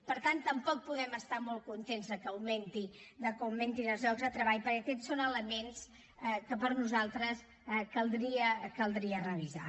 per tant tampoc podem estar molt contents de que augmentin els llocs de treball perquè aquests són elements que per nosaltres caldria revisar